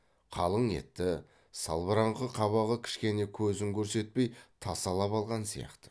қалың етті салбыраңқы қабағы кішкене көзін көрсетпей тасалап алған сияқты